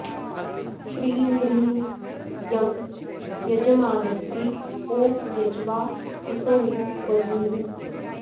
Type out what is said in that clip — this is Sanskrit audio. श्रीं ह्रीं यं यजमानस्त्री ॐ यज्वा हसौः वधूः